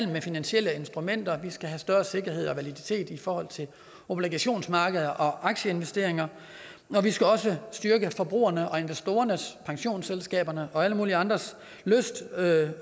med finansielle instrumenter og vi skal have større sikkerhed og validitet i forhold til obligationsmarkedet og aktieinvesteringer vi skal også styrke forbrugernes investorernes pensionsselskabernes og alle mulige andres lyst til at